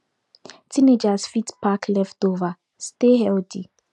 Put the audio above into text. teenagers fit pack leftover stay healthy